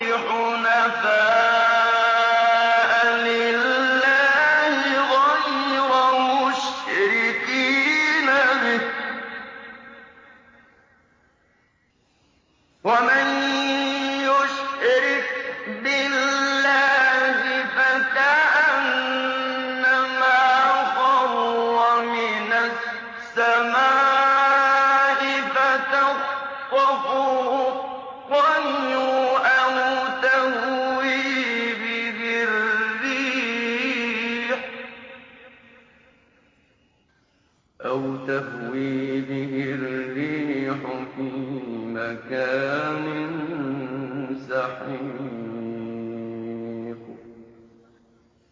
حُنَفَاءَ لِلَّهِ غَيْرَ مُشْرِكِينَ بِهِ ۚ وَمَن يُشْرِكْ بِاللَّهِ فَكَأَنَّمَا خَرَّ مِنَ السَّمَاءِ فَتَخْطَفُهُ الطَّيْرُ أَوْ تَهْوِي بِهِ الرِّيحُ فِي مَكَانٍ سَحِيقٍ